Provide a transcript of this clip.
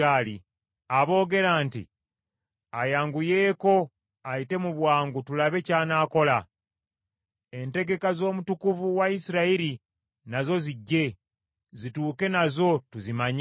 Aboogera nti, “Ayanguyeeko, ayite mu bwangu tulabe ky’anaakola. Entegeka z’omutukuvu wa Isirayiri nazo zijje, zituuke nazo tuzimanye.”